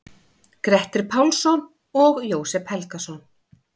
Grettir Pálsson og Jósep Helgason.